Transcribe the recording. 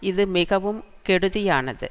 இது மிகவும் கெடுதியானது